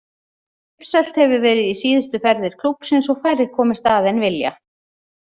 Uppselt hefur verið í síðustu ferðir klúbbsins og færri komist að en vilja.